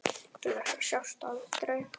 Til þess að sjást aldrei.